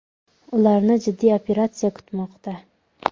Ularni jiddiy operatsiya kutmoqda .